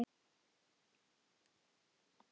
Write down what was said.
Er þetta pabbi þinn?